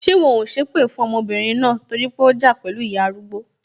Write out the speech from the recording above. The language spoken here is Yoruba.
Ṣé wọn ò sépè fún ọmọbìnrin náà torí pé ó ja pẹlu ìyá arúgbó?